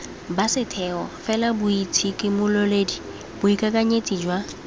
ba setheo felaboitshimololedi boikakanyetsi jwa